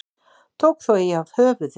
Tók þó eigi af höfuðið.